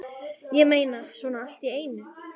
Ég meina, svona allt í einu?